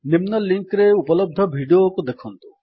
ନିମ୍ନ ଲିଙ୍କ୍ ରେ ଉପଲବ୍ଧ ଭିଡିଓ ଦେଖନ୍ତୁ